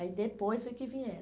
Aí depois foi que vieram.